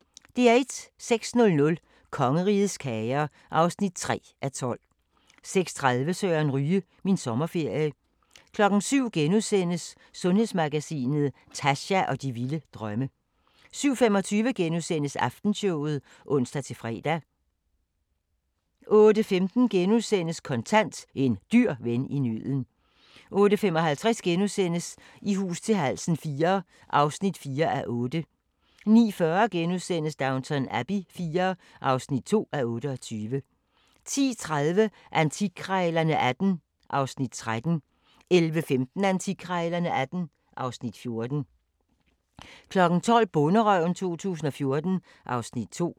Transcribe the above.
06:00: Kongerigets kager (3:12) 06:30: Søren Ryge – Min sommerferie 07:00: Sundhedsmagasinet: Tascha og de vilde drømme * 07:25: Aftenshowet *(ons-fre) 08:15: Kontant: En dyr ven i nøden * 08:55: I hus til halsen IV (4:8)* 09:40: Downton Abbey IV (2:28)* 10:30: Antikkrejlerne XVIII (Afs. 13) 11:15: Antikkrejlerne XVIII (Afs. 14) 12:00: Bonderøven 2014 (Afs. 2)